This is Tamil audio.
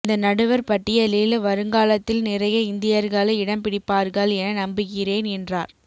இந்த நடுவர் பட்டியலில் வருங்காலத்தில் நிறைய இந்தியர்கள் இடம் பிடிப்பார்கள் என நம்புகிறேன் என்றார்